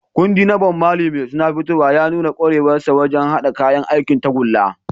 Kundin na Bob Marley mai suna "Fitowa" ya nuna kwarewarsa wajen haɗa kayan aikin tagulla.